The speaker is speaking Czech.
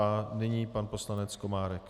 A nyní pan poslanec Komárek.